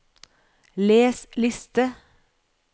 les liste